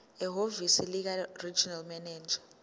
ehhovisi likaregional manager